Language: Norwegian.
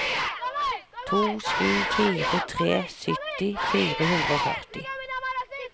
to sju fire tre sytti fire hundre og førti